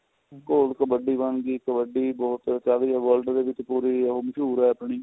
ਘੋਲ ਕਬੱਡੀ ਬਣ ਗਈ ਕਬੱਡੀ ਬਹੁਤ ਕਹਿ ਵੀ world ਵਿਚ ਪੂਰੀ ਉਹ ਮਸ਼ਹੂਰ ਏ ਆਪਣੀ